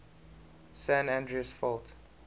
san andreas fault